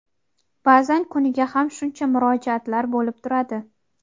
Ba’zan kuniga ham shuncha murojaatlar bo‘lib turadi.